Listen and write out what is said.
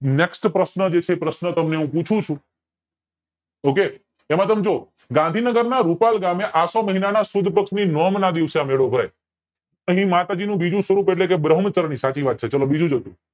NEXT પ્રશ્ન જે છે એ પ્રશ્ન હું તમને પૂછું છું OKAY તેમાં તમે જોવો ગાંધીનગર ના રૂપાલ ગામે આસો મહીનાં ના સુદ પક્ષ ની નોમ ના દિવસે આ મેળો ભરાય એમાં માતાજી નું બીજું સ્વરૂપ એટલે બ્રહ્મચરણી સાચી વાત છે બીજું